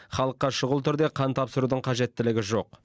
халыққа шұғыл түрде қан тапсырудың қажеттілігі жоқ